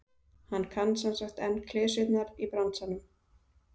Hann kann semsagt enn klisjurnar í bransanum?